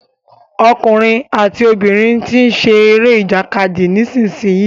Ọkùnrin àti obìnrin tí ń ṣe eré ìjàkadì nísìyí.